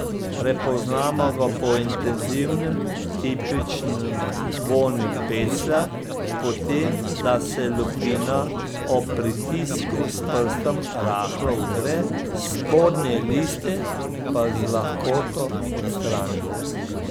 Prepoznamo ga po intenzivnem, tipičnem vonju peclja, po tem, da se lupina ob pritisku s prstom rahlo vdre, spodnje liste pa z lahkoto odstranimo.